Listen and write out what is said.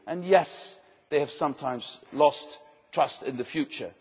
and yes, they have sometimes lost trust in the future.